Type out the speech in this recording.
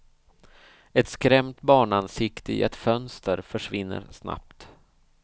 Ett skrämt barnansikte i ett fönster försvinner snabbt.